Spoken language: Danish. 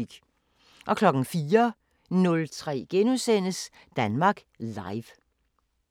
04:03: Danmark Live *